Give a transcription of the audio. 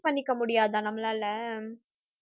பண்ணிக்க முடியாதா நம்மளால